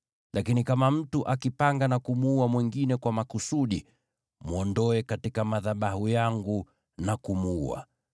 Lakini kama mtu akipanga na kumuua mwingine kwa makusudi, mwondoe katika madhabahu yangu na kumuua.